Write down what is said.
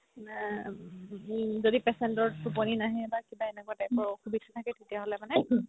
যদি patient ৰ তুপনি নাহে বা কিবা এনেকুৱা type ৰ অসুবিধা থাকে তেতিয়া হ'লে মানে